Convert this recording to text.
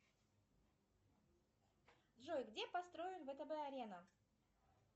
джой где построен втб арена